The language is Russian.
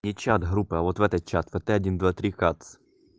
не чат группы а вот в этот чат вот один два три кац